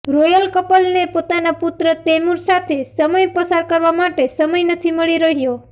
royal કપલને પોતાના પુત્ર તૈમૂર સાથે સમય પસાર કરવા માટે સમય નથી મળી રહ્યો